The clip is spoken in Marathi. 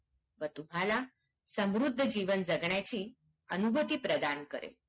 व तुम्हाला समुद्ध जीवन जगण्याची अनुभुती प्रदान करेल